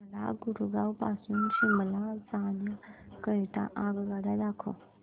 मला गुरगाव पासून शिमला जाण्या करीता आगगाड्या दाखवा